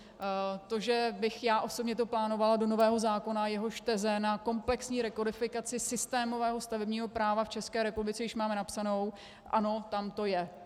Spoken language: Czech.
To, že bych já osobně to plánovala do nového zákona, jehož teze na komplexní rekodifikaci systémového stavebního práva v České republice již máme napsané, ano, tam to je.